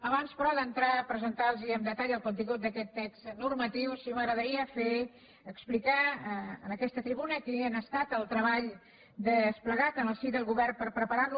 abans però d’entrar a presentar los amb detall el contingut d’aquest text normatiu sí que m’agradaria fer explicar en aquesta tribuna quin ha estat el treball desplegat en el si del govern per preparar lo